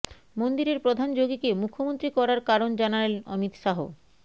মন্দিরের প্রধান যোগিকে মুখ্যমন্ত্রী করার কারণ জানালেন অমিত শাহ